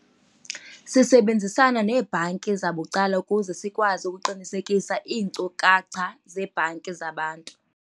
Sisebenzisana neebhanki zabucala ukuze sikwazi ukuqinisekisa iinkcukacha zebhanki zabantu.